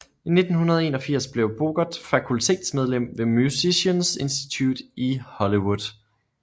I 1981 blev Bogert fakultetsmedlem ved Musicians Institute i Hollywood